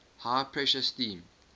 high pressure steam